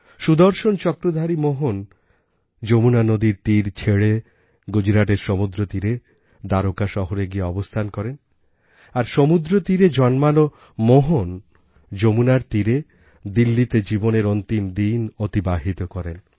সুদর্শনচক্রধারী মোহন যমুনা নদীর তীর ছেড়ে গুজরাটের সমুদ্রতীরে দ্বারকা শহরে গিয়ে অবস্থান করেন আর সমুদ্রতীরে জন্মানো মোহন যমুনার তীরে দিল্লিতে জীবনের অন্তিম দিন অতিবাহিত করেন